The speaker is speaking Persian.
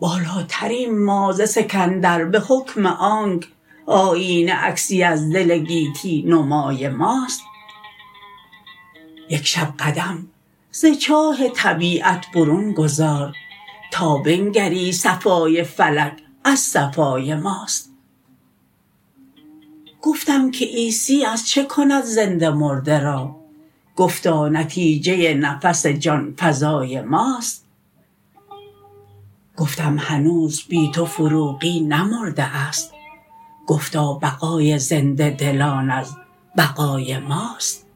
بالاتریم ما ز سکندر به حکم آنک آیینه عکسی از دل گیتی نمای ماست یک شب قدم ز چاه طبیعت برون گذار تا بنگری صفای فلک از صفای ماست گفتم که عیسی از چه کند زنده مرده را گفتا نتیجه نفس جان فزای ماست گفتم هنوز بی تو فروغی نمرده است گفتا بقای زنده دلان از بقای ماست